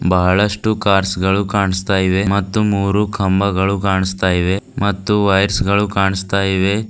ಬಹಳಷ್ಟು ಕಾರ್ಸ್ ಗಳು ಕಾನಸ್ತಾ ಇವೆ ಮತ್ತು ಮೂರು ಕಂಬಗಳು ಕಾನಸ್ತಾ ಇವೆ ಮತ್ತು ವೈರ್ಸ್ ಗಳು ಕಾನಸ್ತಾ ಇವೆ.